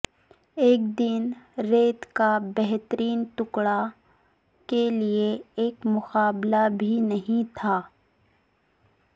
ایک دن ریت کا بہترین ٹکڑا کے لئے ایک مقابلہ بھی نہیں تھا